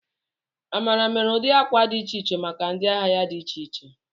Amara mere ụdị akwa dị iche iche maka ndị ahịa ya dị iche iche.